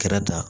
Kɛrɛda